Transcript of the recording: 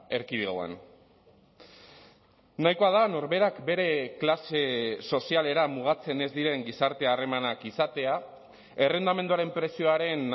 erkidegoan nahikoa da norberak bere klase sozialera mugatzen ez diren gizarte harremanak izatea errentamenduaren prezioaren